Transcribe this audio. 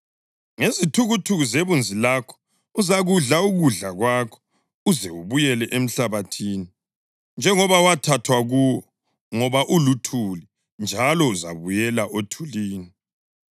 Ngezithukuthuku zebunzi lakho uzakudla ukudla kwakho uze ubuyele emhlabathini, njengoba wathathwa kuwo; ngoba uluthuli njalo uzabuyela othulini.”